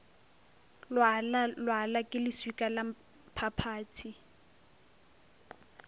lwala lwala ke leswika lamphaphathi